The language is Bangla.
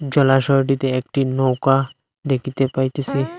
জলাশয়টিতে একটি নৌকা দেখিতে পাইতেসি।